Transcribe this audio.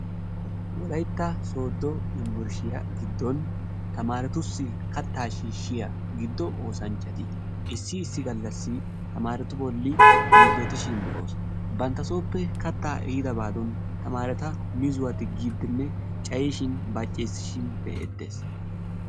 Wolaytta sodo yumburshiya giddon tamaaretussi kattaa shiishshiya giddo oosanchchati issi issi gallassi tamaaretu bolli yiillotishin be'oosu. Banttasooppe kattaa ehiidabadan tamaareta mizuwa diggiiddinne cayishin baceessishin be'eettes.